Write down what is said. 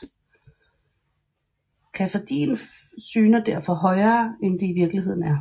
Katahdin syner derfor højere end det i virkeligheden er